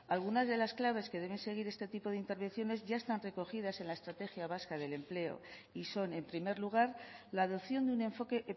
alguna de las claves que deben seguir este tipo de intervenciones ya están recogidas en la estrategia vasca del empleo y son en primer lugar la adopción de un enfoque